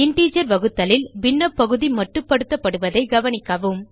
integer வகுத்தலில் பின்ன பகுதி மட்டுப்படுத்தப்படுவதைக் கவனிக்கவும்